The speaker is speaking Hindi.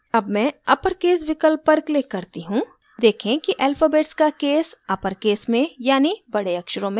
अब मैं uppercase विकल्प पर click करती हूँ देखें कि alphabets का case uppercase में यानि बड़े अक्षरों में बदल गया है